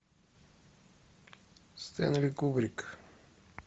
стэнли кубрик